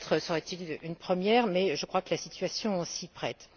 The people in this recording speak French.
Peut être serait ce une première mais je crois que la situation s'y prête.